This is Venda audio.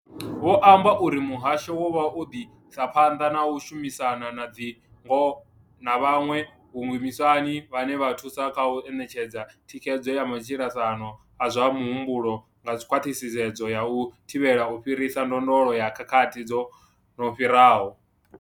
Vho amba uri muhasho wavho u ḓo isa phanḓa na u shumisana na dzi NGO na vhaṅwe vhashumisani vhane vha thusa kha u ṋetshedza thikhedzo ya matshilisano a zwa muhumbulo nga khwaṱhisedzo ya u thivhela u fhirisa ndondolo ya khakhathi dzo no fhiraho.